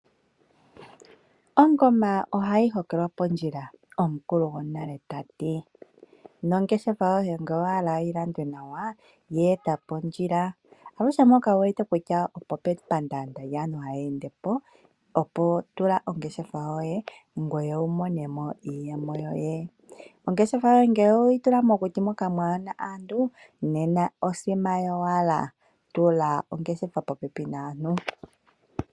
Ongoma ohayi holekwa pondjila omukulu gwonale tati, nongeshefa yoye ngele owahala yi landwe nawa yo eta pondjila, aluhe mpoka wu wete kutya opo pe pandaanda lyaantu haya endepo opo tula ongeshefa yoye opo ngoye wiimonene mo iiyemo yoye. Ongeshefa ngele oweyi tula mokuti moka mwaana aantu nena osima yowala, tula ongeshefa popepi naantu.